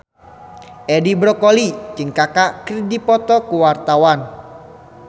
Edi Brokoli jeung Kaka keur dipoto ku wartawan